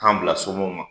K'an bila somɔgɔw ma